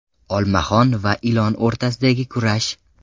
Olmaxon va ilon o‘rtasidagi kurash.